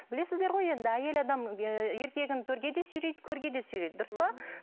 білесіздер ғой енді әйел адам ыыы еркегін төрге де сүйрейді көрге де сүйрейді дұрыс па